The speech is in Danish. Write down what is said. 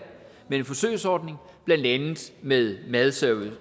med en forsøgsordning blandt andet med madservice